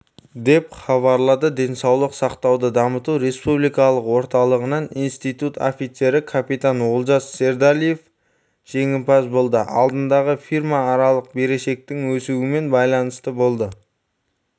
деп хабарлады денсаулық сақтауды дамыту республикалықорталығынан институт офицері капитан олжас сердалиев жеңімпаз болды алдындағы фирмааралық берешектің өсуімен байланысты болды